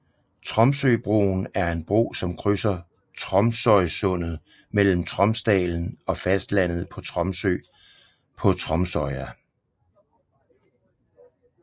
Tromsøbroen er en bro som krydser Tromsøysundet mellem Tromsdalen på fastlandet og Tromsø på Tromsøya